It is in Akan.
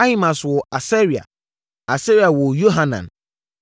Ahimaas woo Asaria, Asaria woo Yohanan,